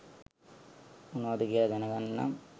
මොනවද කියලා දැනගන්න නම්